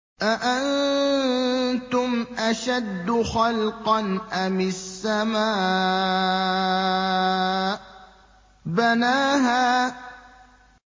أَأَنتُمْ أَشَدُّ خَلْقًا أَمِ السَّمَاءُ ۚ بَنَاهَا